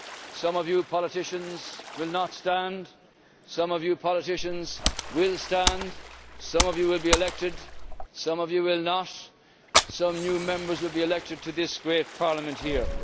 Some of you politicians will not stand, some of you politicians will stand, some of you will be elected, some of you will not and some new Members will be elected to this great Parliament here.